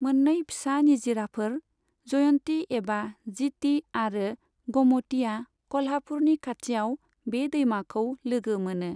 मोन्नै फिसा निजिराफोर, जयन्ति एबा जिति आरो गमतिया कल्हापुरनि खाथियाव बे दैमाखौ लोगो मोनो।